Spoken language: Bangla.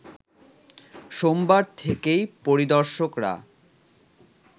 সোমবার থেকেই পরিদর্শকরা